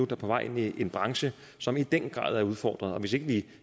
er på vej ind i en branche som i den grad er udfordret hvis ikke vi